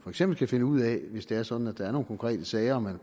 eksempel kan finde ud af ved hvis det er sådan at der er nogle konkrete sager at man